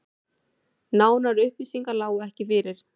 Nánari upplýsingar lágu ekki fyrir